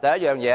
第一，